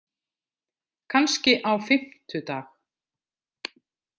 Kannski á fimmtudag.